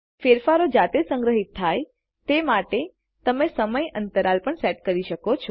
ફેરફારો જાતે જ સંગ્રહિત થાય તે માટે તમે સમય અંતરાલટાઈમ ઈન્ટરવલ પણ સેટ કરી શકો